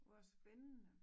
Hvor spændende